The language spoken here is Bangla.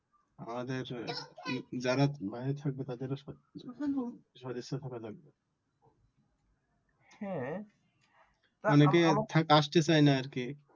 আমাদের যারা বাহিরে থাকবে তাদের ও সদিচ্ছা থাকা লাগবে। অনেকে আসতে চায় না আর কি